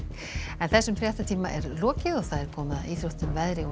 þessum fréttatíma er lokið og komið að íþróttum veðri og